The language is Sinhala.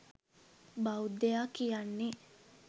බෞද්ධයා කියන්නේ